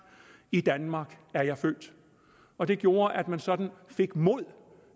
i danmark er jeg født og det gjorde at man sådan fik mod